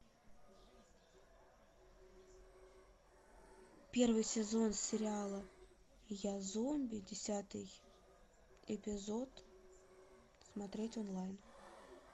первый сезон сериала я зомби десятый эпизод смотреть онлайн